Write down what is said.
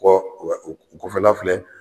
kɔ u wɛ u u kɔfɛla filɛ.